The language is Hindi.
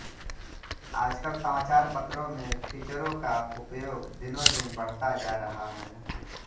आजकल समाचार पत्रों में फीचरों का उपयोग दिनोंदिन बढ़ता जा रहा है